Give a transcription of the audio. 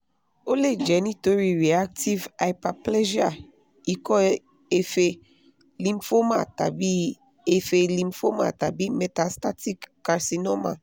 o le jẹ nitori reactive hyperplasia iko efe lymphoma tabi efe lymphoma tabi metastatic carcinoma